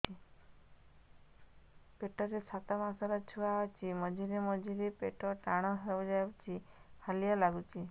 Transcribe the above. ପେଟ ରେ ସାତମାସର ଛୁଆ ଅଛି ମଝିରେ ମଝିରେ ପେଟ ଟାଣ ହେଇଯାଉଚି ହାଲିଆ ଲାଗୁଚି